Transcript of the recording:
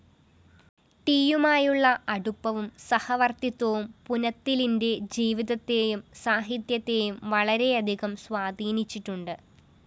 ടിയുമായിട്ടുള്ള അടുപ്പവും സഹവര്‍ത്തിത്വവും പുനത്തിലിന്റെ ജീവിതത്തെയും സാഹിത്യത്തെയും വളരെയധികം സ്വാധീനിച്ചിട്ടുണ്ട്